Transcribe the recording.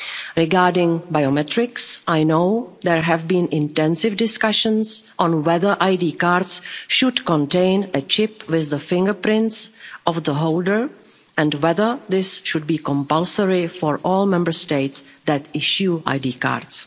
Regarding biometrics, I know there have been intensive discussions on whether ID cards should contain a chip with the fingerprints of the holder and whether this should be compulsory for all Member States that issue ID cards.